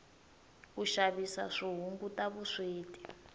ku xavisa swi hunguta vusweti